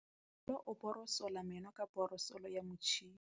Bonolô o borosola meno ka borosolo ya motšhine.